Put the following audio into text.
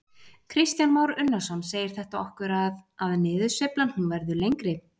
Kristján Már Unnarsson: Segir þetta okkur að, að niðursveiflan hún verður lengri?